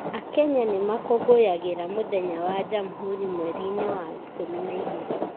Akenya nĩ makũngũyagĩra mũthenya wa Jamhuri mweri-inĩ wa ikũmi na igĩrĩ.